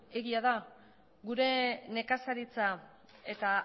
egia da gure nekazaritza eta